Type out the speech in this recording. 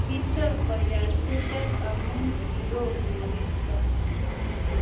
kitur kuyat kurget amu kioo koristo